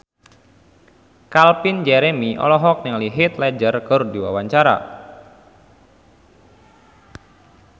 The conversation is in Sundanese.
Calvin Jeremy olohok ningali Heath Ledger keur diwawancara